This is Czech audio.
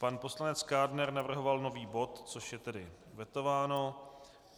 Pan poslanec Kádner navrhoval nový bod, což je tedy vetováno.